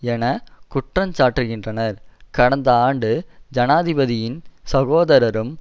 என குற்றஞ்சாட்டுகின்றனர் கடந்த ஆண்டு ஜனாதிபதியின் சகோதரரும்